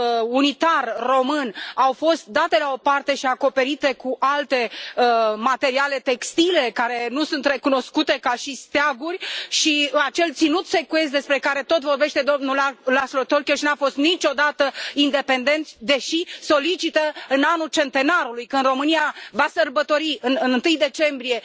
unitar român au fost date la o parte și acoperite cu alte materiale textile care nu sunt recunoscute ca și steaguri și acel ținut secuiesc, despre care tot vorbește domnul Laszlo Tokes, n a fost niciodată independent, deși solicită în anul centenarului România va sărbători în 1 decembrie